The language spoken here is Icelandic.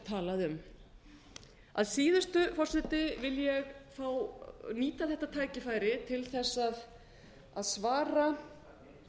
talað um að síðustu forseti vil ég fá nýta þetta tækifæri til þess að svara